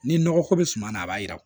Ni nɔgɔ ko bɛ suma na a b'a yira